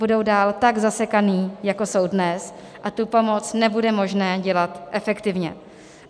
Budou dál tak zasekané, jako jsou dnes, a tu pomoc nebude možné dělat efektivně.